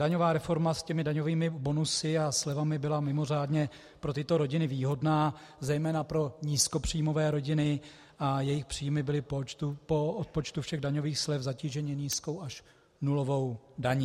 Daňová reforma s těmi daňovými bonusy a slevami byla mimořádně pro tyto rodiny výhodná, zejména pro nízkopříjmové rodiny, a jejich příjmy byly po odpočtu všech daňových slev zatíženy nízkou až nulovou daní.